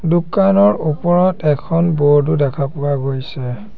দোকানৰ ওপৰত এখন বোৰ্ড ও দেখা পোৱা গৈছে।